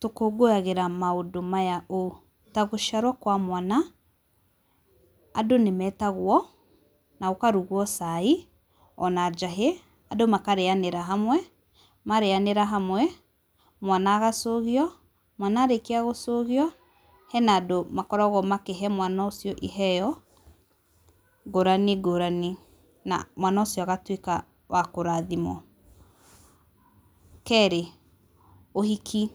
Tũkũngũyagĩra maũndũ maya ũũ. Ta gũciarwo kwa mwana, andũ nĩ metagwo, na gũkarugwo cai, ona njahĩ. Andũ makarĩanĩra hamwe, marĩanĩra hamwe, mwana agacũgio. Mwana arĩkia gũcũgio, hena andũ makoragwo makĩhe mwana ũcio iheeo, ngũrani ngũrani. Na mwana ũcio agatuĩka wa kũrathimwo. Keerĩ, ũhiki.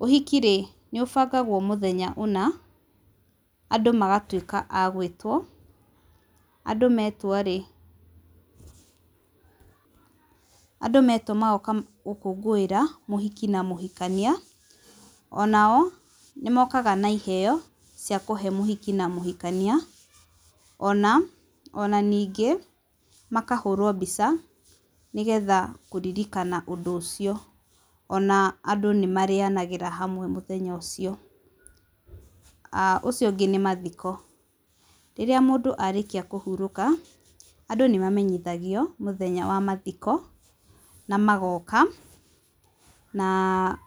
Ũhiki rĩ, nĩ ũbangagwo mũthenya ũna, andũ magatuĩka a gwĩtwo, andũ metwo rĩ, andũ metwo magoka gũkũngũĩra, mũhiki na mũhikania. Onao nĩ mokaga na iheeo, cia kũhe mũhiki na mũhikania, ona, ona ningĩ makahũrwo mbica, nĩgetha kũririkana ũndũ ũcio. Ona andũ nĩ marĩanagĩra hamwe mũthenya ũcio. Ũcio ũngĩ nĩ mathiko. Rĩrĩa mũndũ arĩkia kũhurũka, andũ nĩ mamenyithagio mũthenya wa mathiko, na magoka, na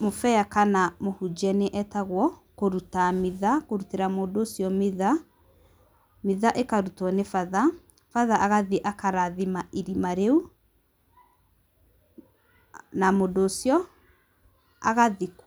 mũbĩa kana mũhunjia nĩ etagwo, kũruta mitha, kũrutĩra mũndũ ũcio mitha. Mitha ĩkarutwo nĩ batha, batha agathiĩ akarathima irima rĩu, na mũndũ ũcio agathi.